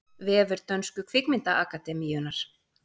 Vefur dönsku kvikmyndaakademíunnar